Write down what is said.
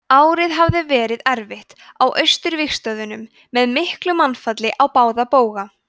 árið hafði verið erfitt á austurvígstöðvunum með miklu mannfalli á báða bóga